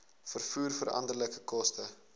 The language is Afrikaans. vervoer veranderlike koste